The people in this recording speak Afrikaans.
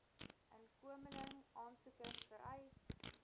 inkomeling aansoekers vereis